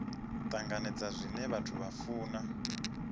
tanganedza zwine vhathu vha funa